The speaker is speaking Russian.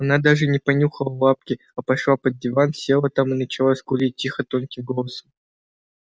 она даже не понюхала лапки а пошла под диван села там и начала скулить тихо тонким голосом